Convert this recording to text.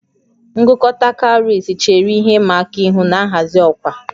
Ngụkọta cowries chere ihe ịma aka ihu na nhazi ọkwa